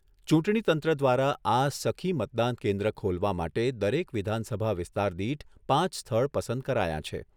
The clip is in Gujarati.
ચૂંટણી તંત્ર દ્વારા આ "સખી" મતદાન કેન્દ્ર ખોલવા માટે દરેક વિધાનસભા વિસ્તાર દીઠ પાંચ સ્થળ પસંદ કરાયાં છે.